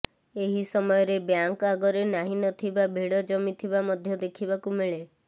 ଏହି ସମୟରେ ବ୍ୟାଙ୍କ ଆଗରେ ନାହିଁ ନଥିବା ଭିଡ ଜମିଥିବା ମଧ୍ୟ ଦେଖିବାକୁ ମିଳେ